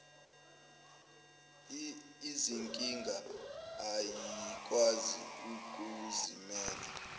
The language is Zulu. izinkinga ayikwazi ukuzimela